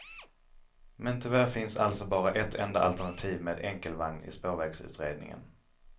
Men tyvärr finns alltså bara ett enda alternativ med enkelvagn i spårvägsutredningen.